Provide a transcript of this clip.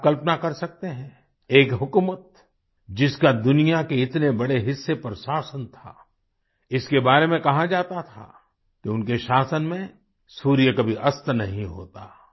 क्या आप कल्पना कर सकते हैं एक हुकूमत जिसका दुनिया के इतने बड़े हिस्से पर शासन था इसके बारे में कहा जाता था कि उनके शासन में सूर्य कभी अस्त नहीं होता